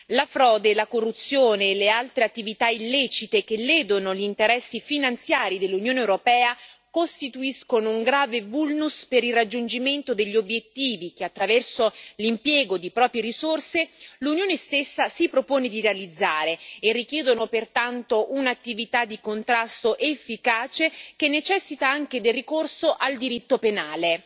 La frode, la corruzione e le altre attività illecite che ledono gli interessi finanziari dell'Unione europea costituiscono un grave vulnus per il raggiungimento degli obiettivi che, attraverso l'impiego di proprie risorse, l'Unione stessa si propone di realizzare, e richiedono pertanto un'attività di contrasto efficace, che necessita anche del ricorso al diritto penale.